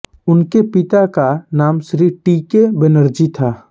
उनके पिता का नाम श्री टीके बनर्जी था